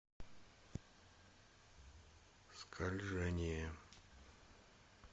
скольжение